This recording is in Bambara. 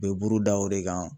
U bɛ buruda o de kan.